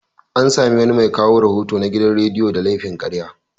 An sami wani mai kawo rahoto na gidan radiyo da laifin karya.